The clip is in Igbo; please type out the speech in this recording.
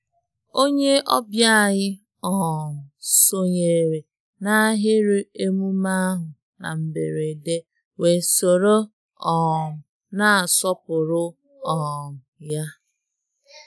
Onye ọbịa anyị um sonyere n'ahịrị emume ahụ na mberede wee soro um na-asọpụrụ um ya.